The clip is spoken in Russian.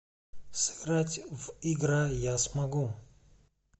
сыграть в игра я смогу